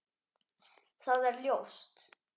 Það er ljóst.